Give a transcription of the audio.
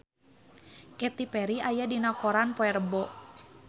Katy Perry aya dina koran poe Rebo